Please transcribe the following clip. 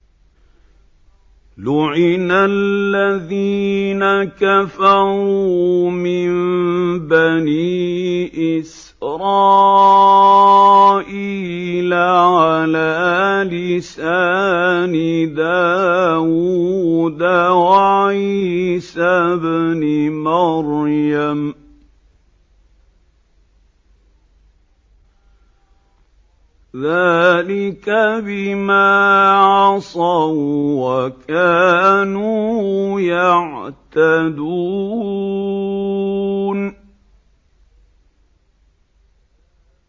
لُعِنَ الَّذِينَ كَفَرُوا مِن بَنِي إِسْرَائِيلَ عَلَىٰ لِسَانِ دَاوُودَ وَعِيسَى ابْنِ مَرْيَمَ ۚ ذَٰلِكَ بِمَا عَصَوا وَّكَانُوا يَعْتَدُونَ